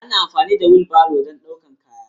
Ana amfani da wilbaro don ɗaukar kaya.